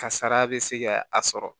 Kasara bɛ se ka a sɔrɔ